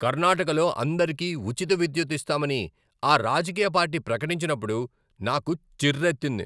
కర్ణాటకలో అందరికీ ఉచిత విద్యుత్తు ఇస్తామని ఆ రాజకీయ పార్టీ ప్రకటించినప్పుడు నాకు చిర్రెత్తింది.